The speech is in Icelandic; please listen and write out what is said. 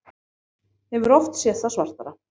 Hefur oft séð það svartara